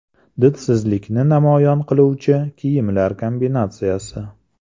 Didsizlikni namoyon qiluvchi kiyimlar kombinatsiyasi .